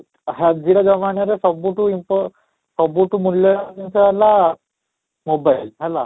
ଆଜିର ଜମାନରେ ସବୁଠୁ ସବୁଠୁ ମୂଲ୍ୟବାନ ଜିନିଷ ହେଲା mobile ହେଲା